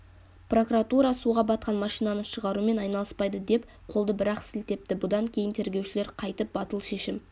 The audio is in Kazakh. прокуратура суға батқан машинаны шығарумен айналыспайды деп қолды бір-ақ сілтепті бұдан кейін тергеушілер қайтіп батыл шешім